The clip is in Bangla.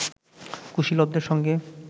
কুশীলবদের সঙ্গে